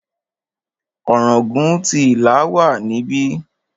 Ọ̀ràngún ti Ìlá wà níbí.